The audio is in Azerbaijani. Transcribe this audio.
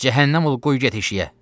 Cəhənnəm ol, qoy get işiyə.